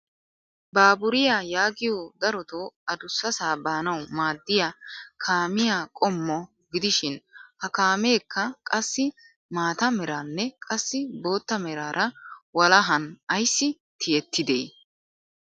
Baaburiyaa yaagiyoo darotoo adussasaa baanawu maaddiyaa kaamiyaa qommo gidishin ha kaameekka qassi maata meraraanne qassi bootta meraara walahan ayssi tiyettidee?